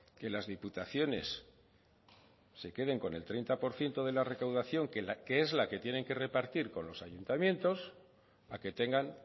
que las diputaciones se queden con el treinta por ciento de la recaudación que es la que tienen que repartir con los ayuntamientos a que tengan